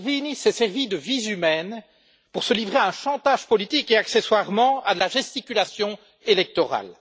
Salvini s'est servi de vies humaines pour se livrer à un chantage politique et, accessoirement, à de la gesticulation électorale.